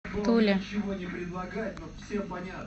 туле